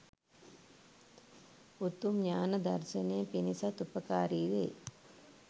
උතුම් ඤාණ දර්ශනය පිණිසත් උපකාරී වේ